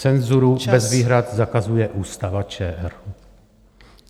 Cenzuru bez výhrad zakazuje Ústava ČR.